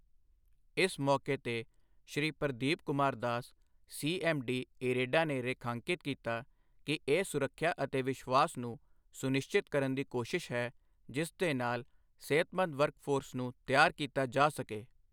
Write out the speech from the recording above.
ਇਸ ਮੌਕੇ ਤੇ ਸ਼੍ਰੀ ਪ੍ਰਦੀਪ ਕੁਮਾਰ ਦਾਸ, ਸੀਐੱਮਡੀ, ਇਰੇਡਾ ਨੇ ਰੇਖਾਂਕਿਤ ਕੀਤਾ ਕਿ ਇਹ ਸੁਰੱਖਿਆ ਅਤੇ ਵਿਸ਼ਵਾਸ ਨੂੰ ਸੁਨਿਸ਼ਚਿਤ ਕਰਨ ਦੀ ਕੋਸ਼ਿਸ਼ ਹੈ ਜਿਸ ਦੇ ਨਾਲ ਸਿਹਤਮੰਦ ਵਰਕਫੋਰਸ ਨੂੰ ਤਿਆਰ ਕੀਤਾ ਜਾ ਸਕੇ।